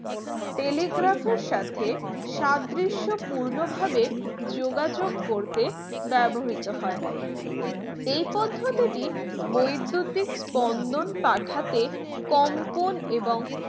telegraph এর সাথে সাদৃশ্যপূর্ণ ভাবে যোগাযোগ করতে ব্যবহৃত হয় এই পদ্ধতিতে বৈদ্যুতিক স্পন্দন পাঠাতে কম্পন এবং